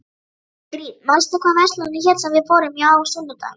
Ingrid, manstu hvað verslunin hét sem við fórum í á sunnudaginn?